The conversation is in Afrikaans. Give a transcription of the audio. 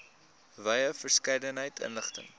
wye verskeidenheid inligting